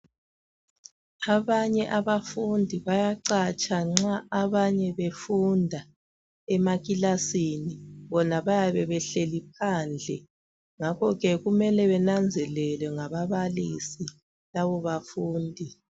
Abanye abafundi bayacatsha nxa abanye befunda emakilasini bona bayabe behleli phandle ngakho ke kumele benanzelelwe ngababalisi labo bafundi.